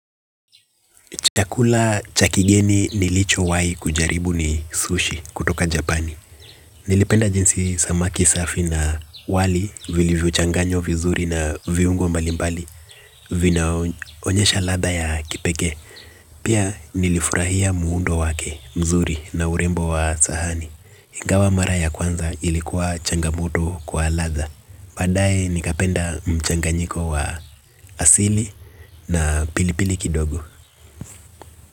Chakula cha kigeni nilichowahi kujaribu ni sushi kutoka Japani. Nilipenda jinsi samaki safi na wali vilivyochanganywa vizuri na viungo mbali mbali vinaonyesha ladha ya kipekee. Pia nilifurahia muundo wake mzuri na urembo wa sahani. Ingawa mara ya kwanza ilikuwa changamoto kwa ladha. Badae nikapenda mchanganyiko wa asili na pilipili kidogo.